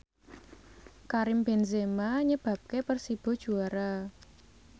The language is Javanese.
Karim Benzema nyebabke Persibo juara